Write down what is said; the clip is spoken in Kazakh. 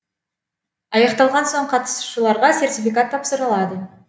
аяқталған соң қатысушыларға сертификат тапсырылады